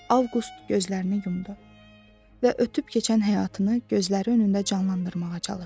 Avqust gözlərini yumdu və ötüb keçən həyatını gözləri önündə canlandırmağa çalışdı.